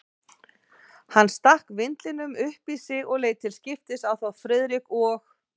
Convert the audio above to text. Hann stakk vindlinum upp í sig og leit til skiptis á þá Friðrik og